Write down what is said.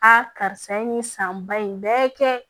karisa ye nin san ba in bɛɛ kɛ